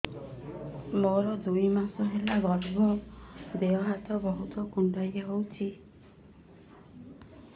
ମୋର ଦୁଇ ମାସ ହେଲା ଗର୍ଭ ଦେହ ହାତ ବହୁତ କୁଣ୍ଡାଇ ହଉଚି